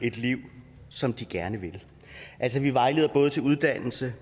et liv som de gerne vil altså vi vejleder både til uddannelse